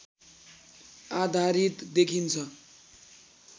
आधारित देखिन्छ